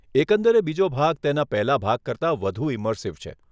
એકંદરે બીજો ભાગ તેના પહેલાં ભાગ કરતાં વધુ ઈમર્સીવ છે.